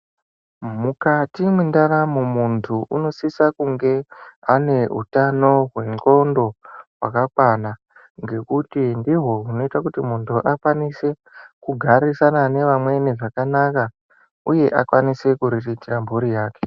Mukati mwendaramo muntu unosisa kunge ane utano hwendxondo hwakakwana ngekuti ndihwo hunoite kuti muntu akwanise kugarisana nevamweni zvakanaka uye akwanise kuriritire mhuri yake.